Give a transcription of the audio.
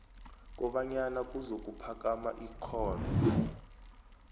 kobanyana kuzokuphakama ikghono